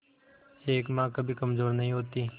एक मां कभी कमजोर नहीं होती